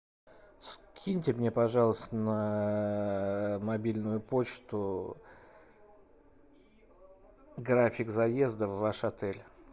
скиньте мне пожалуйста на мобильную почту график заезда в ваш отель